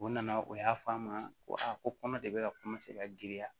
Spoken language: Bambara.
O nana o y'a fɔ a ma ko a ko kɔnɔ de bɛ ka ka giriya